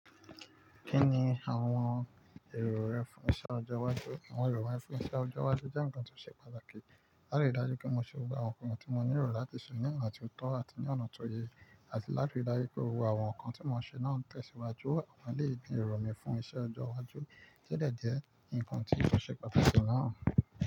Kí ni àwọn èrò rẹ fún iṣẹ́ ọjọ́ iwájú? Àwọn èrò mi fún iṣẹ́ ọjọ́ iwájú jẹ́ ǹkan tó ṣe pàtàkì. Láti rí dájú pé mo ṣe gbogbo àwọn nǹkan tí mo ní èrò láti ṣe ní àwọn àti òótọ́ àti ní ọ̀nà tó yẹ, àti láti rí dájú pé gbogbo àwọn nǹkan tí mo ń ṣe náà ń tẹ̀síwájú. Mo lè gbin èrò mi fún iṣẹ́ ọjọ́ iwájú kí lè di ǹkan tí yóò ṣe pàtàkì lọ́nà.